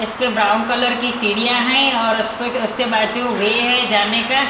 इसपे brown colour की सीढ़ियां है और उस उसके बाद जो वे है जाने का--